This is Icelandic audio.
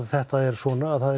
þetta er svona það